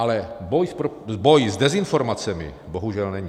Ale boj s dezinformacemi bohužel není.